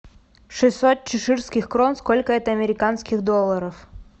шестьсот чеширских крон сколько это американских долларов